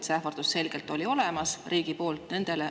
See ähvardus riigi poolt oli selgelt olemas.